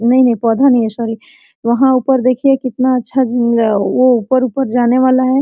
नहीं ये पौधा नहीं है सॉरी वहां ऊपर देखिए कितना अच्छा झील है वो ऊपर ऊपर जाने वाला है।